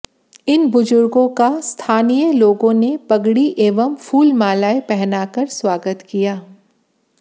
इन बुजुर्गों का स्थानीय लोगों ने पगड़ी एवं फूलमालाएं पहनाकर स्वागत किया